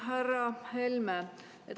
Härra Helme!